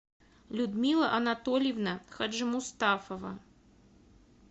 людмила анатольевна хаджимустафова